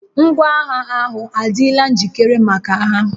Ngwaagha ahụ adịla njikere maka agha